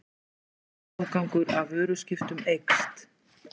Norskur afgangur af vöruskiptum eykst